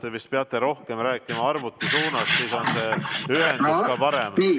Te vist peate rohkem rääkima arvuti suunas, siis on ühendus parem.